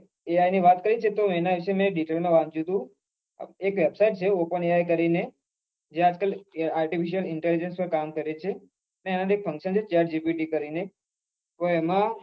AI ની વાત કરી છે ને એના વિશે મેં detail માં વાંચ્યું હતું એ કેતા જ કે open AI કરીને જે આજકાલ artificial intelligence માં કામ કરે છે અને એમાં એક function છે chet gpt કરીને તો એમાં